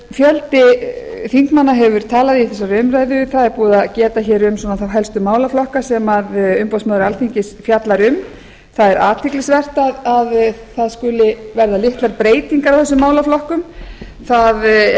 fjöldi þingmanna hefur talað í þessari umræðu það er búið að geta hér um þá helstu málaflokka sem umboðsmaður alþingis fjallar um það er athyglisvert að það skuli verða litlar breytingar í þessum málaflokkum það er